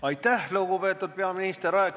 Aitäh, lugupeetud peaminister!